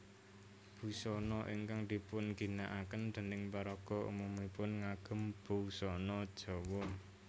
Busana ingkang dipunginakaken dèning paraga umumipun ngagem busana Jawa